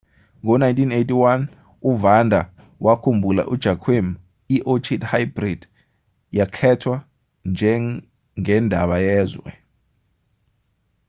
ngo-1981 uvanda wakhumbula ujoaquim iorchid hybrid yakhethwa njengendaba yezwe